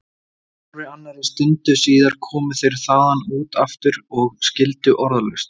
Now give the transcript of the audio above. Hálfri annarri stundu síðar komu þeir þaðan út aftur og skildu orðalaust.